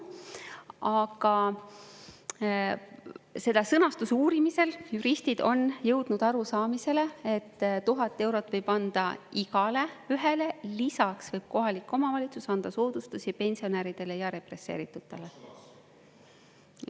Aga selle sõnastuse uurimisel juristid on jõudnud arusaamisele, et 1000 eurot võib anda igaühele, lisaks võib kohalik omavalitsus anda soodustusi pensionäridele ja represseeritutele.